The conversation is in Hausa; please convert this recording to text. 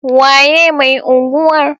Waye mai unguwar?